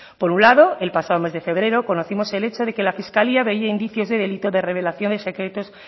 por un lado el pasado mes de febrero conocimos el hecho de que la fiscalía veía indicios de delito de revelación de secretos